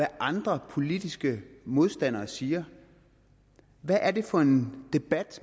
andre politiske modstandere siger hvad er det for en debat